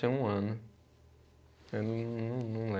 Um ano. Eu não, não lembro.